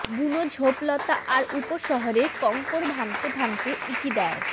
বুনো ঝোঁপলতা আর উপশহরের কঙ্কর ভাঙতে ভাঙতে উঁকি দেয়